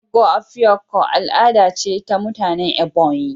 "Ogo Afikpo" al'ada ce ta mutanen Ebonyi